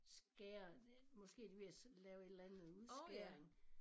Skære måske de ved at lave et eller andet udskæring